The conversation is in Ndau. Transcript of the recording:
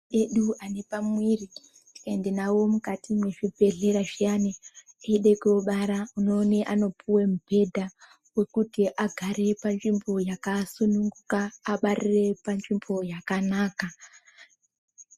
Ana mai edu anepamiviri ukaende navo mukati mwezvibhedhlera zviyani eide kobara unoone anopuve mubhedha. Vokuti agare panzvimbo yakasununguka abarire panzvimbo yakanaka.